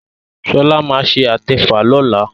Shola má ṣe atefa lọla